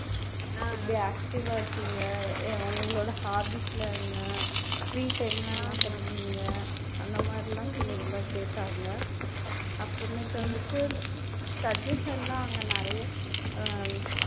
எப்படி active ஆ இருப்பீங்க எ உங்களோட hobbies லாம் என்ன free time ல என்ன பண்ணுவிங்க அந்த மாதிரியெல்லாம் சிலதுயெல்லாம் கேட்டாங்க அப்பறமேட்டு வந்துட்டு suggestion லாம் அங்க நிறைய அஹ்